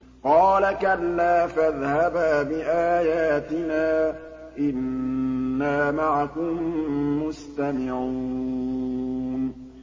قَالَ كَلَّا ۖ فَاذْهَبَا بِآيَاتِنَا ۖ إِنَّا مَعَكُم مُّسْتَمِعُونَ